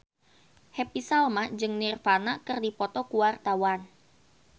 Happy Salma jeung Nirvana keur dipoto ku wartawan